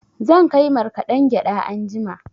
Zan kai markaɗen gyaɗa anjima.